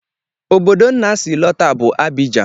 Obodo Nna si lọta bụ Abidjan